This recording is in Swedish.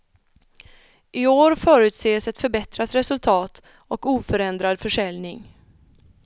I år förutses ett förbättrat resultat och oförändrad försäljning.